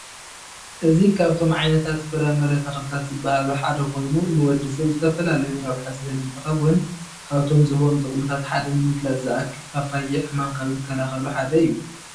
እዚ ካብቶም ዓይነታት ፍረምረ ተኽልታት ዝበሃሉ ሐደ ኮይኑ ንወድሰብ ዝተፈላለዩ ረብሐ ዝህብ እንትኸውን ካብቶም ዝህቦም ጥቅምታት ሐደ ንምግላፅ ዝአክል ፓፓየ ሕማም ካብ ዝከላኸሉ ሐደ እዩ።